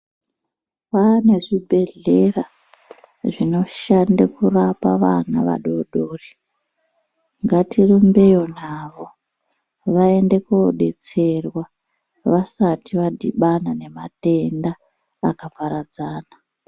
Kwane zvibhedhlera zvinoshande kurapa vana vadodori. Ngatirimbeyo navo vaende kobetserwa vasati vadhibana nematenda akaparadzana.